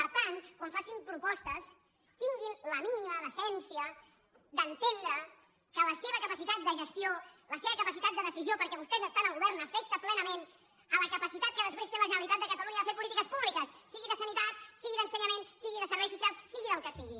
per tant quan facin propostes tinguin la mínima decència d’entendre que la seva capacitat de gestió la seva capacitat de decisió perquè vostès estan al govern afecta plenament la capacitat que després té la generalitat de catalunya de fer polítiques públiques sigui de sanitat sigui d’ensenyament sigui de serveis socials sigui del que sigui